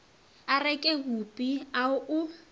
a reke bupi a o